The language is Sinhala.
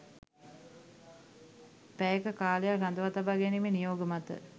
පැය ක කාලයක් රඳවා තබා ගැනීමේ නියෝග මත